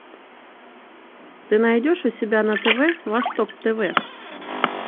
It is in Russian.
ты найдешь у себя на тв восток тв